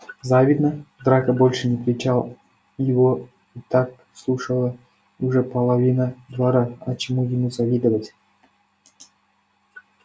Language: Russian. завидно драко больше не кричал его и так слушала уже половина двора а чему ему завидовать